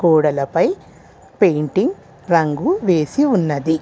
గోడలపై పెయింటింగ్ రంగు వేసి ఉన్నది.